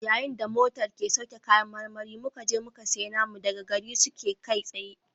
Yayin da motar ke sauke kayan marmari muka je muka sayi namu daga gare su kai tsaye